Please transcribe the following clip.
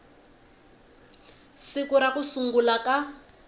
siku ra ku sungula ka